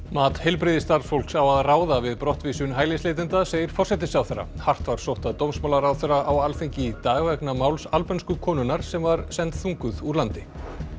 mat heilbrigðisstarfsfólks á að ráða við brottvísun hælisleitenda segir forsætisráðherra hart var sótt að dómsmálaráðherra á Alþingi í dag vegna máls albönsku konunnar sem var send þunguð úr landi